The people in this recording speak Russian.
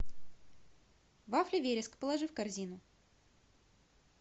вафли вереск положи в корзину